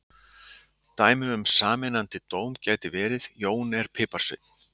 Dæmi um sameinandi dóm gæti verið: Jón er piparsveinn.